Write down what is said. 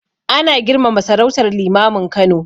Ana girmama sarautar Limamin Kano